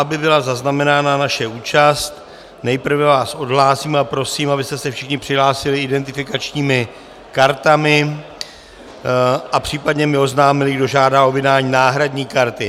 Aby byla zaznamenána naše účast, nejprve vás odhlásím a prosím, abyste se všichni přihlásili identifikačními kartami a případně mi oznámili, kdo žádá o vydání náhradní karty.